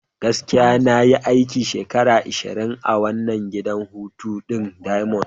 Gaskiya! Na yi aiki shekara ashirin a wannan gidan hutu ɗin diamond.